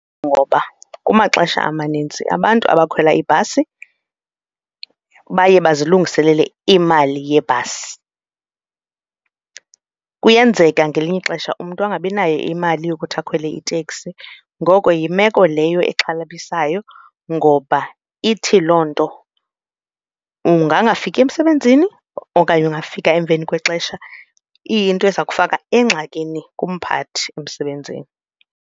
Ngoba kumaxesha amaninzi abantu abakhwela ibhasi baye bazilungiselele imali yebhasi. Kuyenzeka ngelinye ixesha umntu angabi nayo imali yokuthi akhwele iteksi. Ngoko yimeko leyo exhalabisayo ngoba ithi loo nto ungangafiki emsebenzini okanye ungafika emveni kwexesha, iyinto eza kufaka engxakini kumphathi emsebenzini.